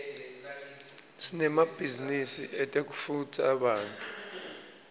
sinemabhizinisi etekutfutsa bantfu